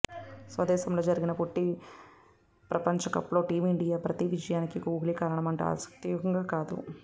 స్వదేశంలో జరిగిన పొట్టి ప్రపంచకప్లో టీమ్ఇండియా ప్రతి విజయానికి కోహ్లీయే కారణమంటే అతియోశక్తి కాదు